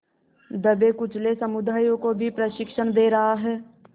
दबेकुचले समुदायों को भी प्रशिक्षण दे रहा है